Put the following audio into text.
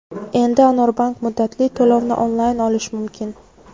Endi Anorbank muddatli to‘lovini onlayn olish mumkin!.